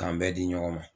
K'an bɛɛ di ɲɔgɔn ma